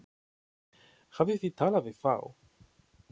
Hafið þið talað við þá?